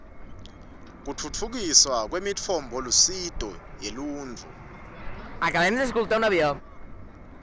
kutfutfukiswa kwemitfombolusito yeluntfu